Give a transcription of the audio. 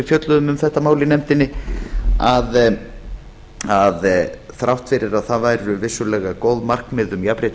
fjölluðum um þetta mál í nefndinni að þrátt fyrir að það væru vissulega góð markmið um jafnrétti